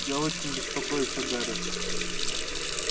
я очень беспокоюсь о гарри